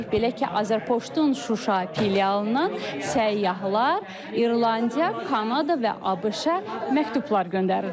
Belə ki, Azərpoçtun Şuşa filialından səyyahlar İrlandiya, Kanada və ABŞ-a məktublar göndərirlər.